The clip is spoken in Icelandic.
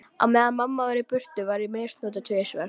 Á meðan mamma var í burtu var ég misnotuð tvisvar.